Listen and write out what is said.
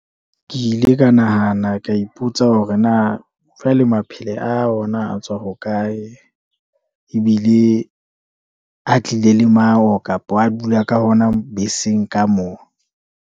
Ke ile ka nahana ka ipotsa hore na, jwale maphile a ona a tswa ho kae, ebile a tlile le mawo kapa a dula ka hona beseng ka moo.